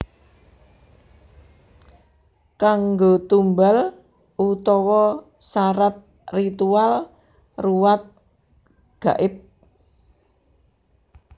Kanggo tumbal utawa sarat ritual ruwat gaib